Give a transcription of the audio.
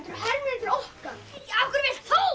hermennirnir okkar af hverju vilt þú